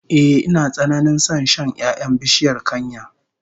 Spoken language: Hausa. Ehh, ina tsananin son shan 'ya'yan bishiyar kanya